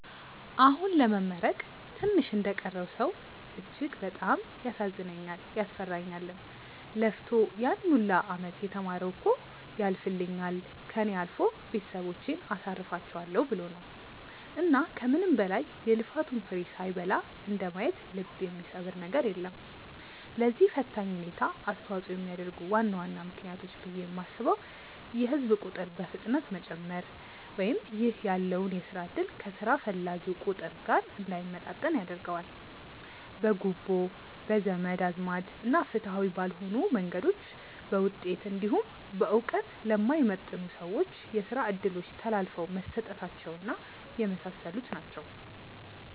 አሁን ለመመረቅ ትንሽ እንደቀረው ሰው እጅግ በጣም ያሳዝነኛልም፤ ያስፈራኛልም። ለፍቶ ያን ሁላ አመት የተማረው እኮ ያልፍልኛል፣ ከእኔ አልፎ ቤተሰቦቼን አሳርፋቸዋለው ብሎ ነው። እና ከምንም በላይ የልፋቱን ፍሬ ሳይበላ እንደማየት ልብ የሚሰብር ነገር የለም። ለዚህ ፈታኝ ሁኔታ አስተዋጽኦ የሚያደርጉ ዋና ዋና ምክንያቶች ብዬ የማስበው የህዝብ ቁጥር በፍጥነት መጨመር ( ይህ ያለውን የስራ እድል ከስራ ፈላጊው ቁጥር ጋር እንዳይመጣጠን ያደርገዋል።) ፣ በጉቦ፣ በዘመድ አዝማድ እና ፍትሃዊ ባልሆኑ መንገዶች በውጤት እንዲሁም በእውቀት ለማይመጥኑ ሰዎች የስራ እድሎች ተላልፈው መሰጠታቸው እና የመሳሰሉት ናቸው።